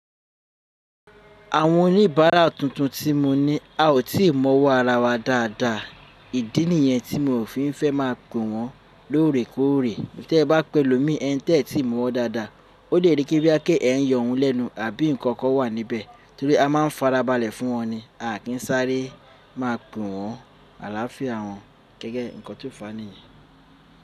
Àwọn oníbàárà tuntun tí mo ní a ò tí ì mọ̀ wó ara wa dáadáa, ìdí nìyẹn tí mi ò fi fẹ́ má a pe wọ́n lóòrèkóòrè. Tí ẹ bá pe olómi ẹ ń tẹ́ ẹ tí ì mọ̀ ọ́ dáadáa, ó lè rí kí bí ẹ kí ẹ ń yọ ohun lẹ́nu àbí nǹkan kan wà níbẹ̀ torí a máa farabalẹ̀ fún wọn ni. A kì í sáré má a pe wọ́n àlàáfíà wọn gẹ́gẹ́ nǹkan tó fa niyẹn.